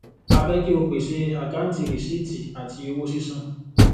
a fẹ kí o pèsè àkáǹtì rìsíìtì àti owó sísan